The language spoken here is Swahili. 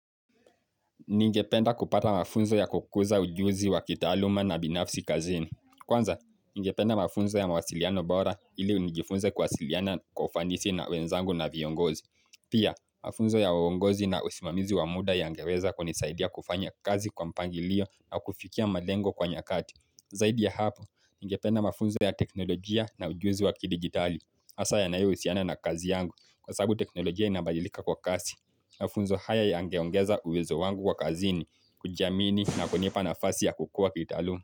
Ningependa kupata mafunzo ya kukuza ujuzi wa kitaaluma na binafsi kazini. Kwanza, ningependa mafunzo ya mawasiliano bora ili nijifunze kuwasiliana kwa ufanisi na wenzangu na viongozi. Pia, mafunzo ya uongozi na usimamizi wa muda yangeweza kunisaidia kufanya kazi kwa mpangilio na kufikia malengo kwa nyakati. Zaidi ya hapo, ningependa mafunzo ya teknolojia na ujuzi wa kidigitali. Hasa yanayohusiana na kazi yangu kwa sababu teknolojia inabalilika kwa kasi. Mafunzo haya yangeongeza uwezo wangu kwa kazini kujiamini na kunipa nafasi ya kukua kiutaluma.